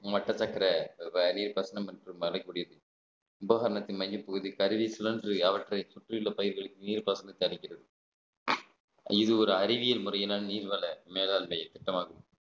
மட்ட சக்கர நீர் பாசனம் என்றும் அழைக்கப்படுகிறது உபகரணத்தின் மையப்பகுதி கருவி சுழன்று அவற்றை சுற்றியுள்ள பயிர்களின் நீர் பாசனத்தை தருக்கிறது இது ஒரு அறிவியல் முறையில் ஆனா நீர்வள மேலாண்மை திட்டமாகும்